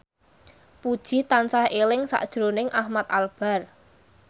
Puji tansah eling sakjroning Ahmad Albar